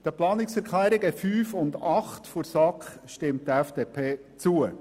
Den Planungserklärungen 5 und 8 der SAK stimmt die FDP zu.